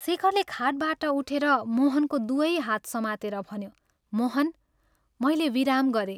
शेखरले खाटबाट उठेर मोहनको दुवै हात समातेर भन्यो, " मोहन, मैले विराम गरें।